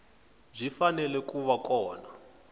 byi fanele ku va kona